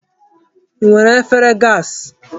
I nwere efere gaasị?